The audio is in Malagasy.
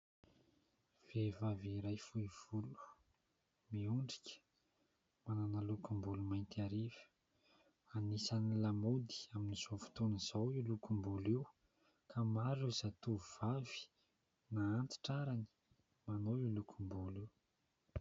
Vehivavy iray fohy volo, miondrika ; manana lokom-bolo mainty hariva ; anisan'ny lamaody amin'izao fotoana izao io lokom-bolo io ka maro ireo zatovo vavy na antitra arany manao io lokombolo io.